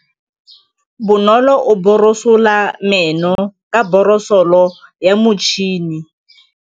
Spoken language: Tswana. Bonolô o borosola meno ka borosolo ya motšhine.